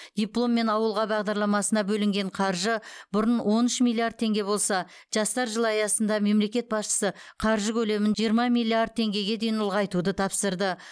дипломмен ауылға бағдарламасына бөлінген қаржы бұрын он үш миллиард теңге болса жастар жылы аясында мемлекет басшысы қаржы көлемін жиырма миллиард теңгеге дейін ұлғайтуды тапсырды